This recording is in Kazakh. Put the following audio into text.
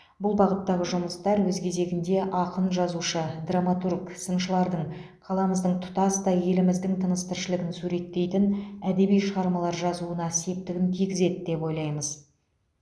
бұл бағыттағы жұмыстар өз кезегінде ақын жазушы драматург сыншылардың қаламыздың тұтастай еліміздің тыныс тіршілігін суреттейтін әдеби шығармалар жазуына септігін тигізеді деп ойлаймыз